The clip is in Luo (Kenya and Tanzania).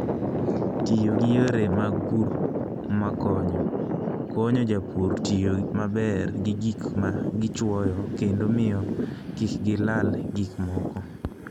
Tiyo gi yore mag pur makonyo, konyo jopur tiyo maber gi gik ma gichwoyo kendo miyo kik gilal gik moko.